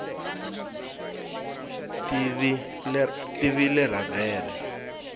tivleravhere